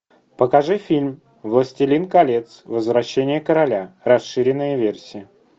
покажи фильм властелин колец возвращение короля расширенная версия